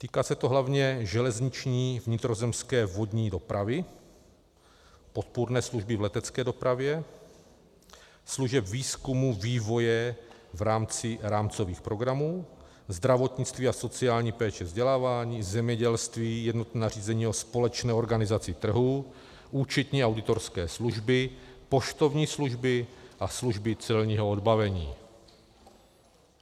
Týká se to hlavně železniční, vnitrozemské, vodní dopravy, podpůrné služby v letecké dopravě, služeb výzkumu, vývoje v rámci rámcových programů, zdravotnictví a sociální péče, vzdělávání, zemědělství, jednotné nařízení o společné organizaci trhu, účetní auditorské služby, poštovní služby a služby celního odbavení.